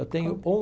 Eu tenho o.